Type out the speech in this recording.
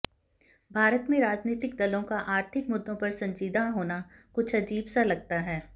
भारत में राजनीतिक दलों का आर्थिक मुद्दों पर संजीदा होना कुछ अजीब सा लगता है